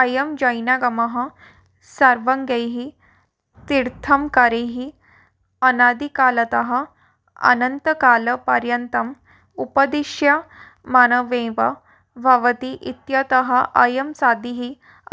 अयं जैनागमः सर्वज्ञैः तीर्थङ्करैः अनादिकालतः अनन्तकालपर्यन्तम् उपदिश्यमानमेव भवति इत्यतः अयं सादिः